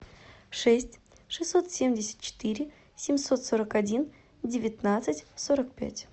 шесть шестьсот семьдесят четыре семьсот сорок один девятнадцать сорок пять